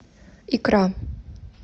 икра